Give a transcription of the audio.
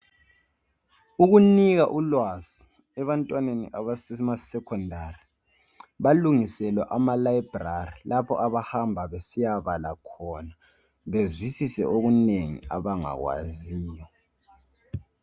Ukunika ulwazi ebantwaneni basema secondary balungiselwa ama library lapho abahamba besiya bala khona bazwisise okunengi abangakwaziyo